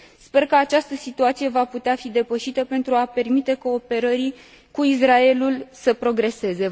Sper că această situație va putea fi depășită pentru a permite cooperării cu Israelul să progreseze.